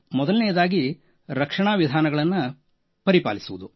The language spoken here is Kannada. ಮೊದಲನೆಯದಾಗಿ ರಕ್ಷಣಾ ವಿಧಾನಗಳನ್ನು ಪರಿಪಾಲಿಸುವುದು